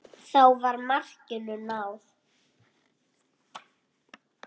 Þá var markinu náð.